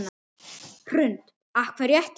Hrund: Af hverju ekki?